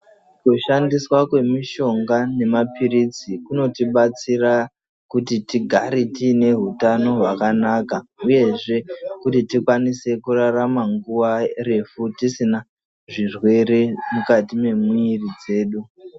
Kushandiswa kwemishonga nemapirizi kunotibatsira kuti tigare tiine hutano hwakanaka uyezve tikwanise kurarama nguwa refu tiine zvirwere mukati mwemwiri dzedu.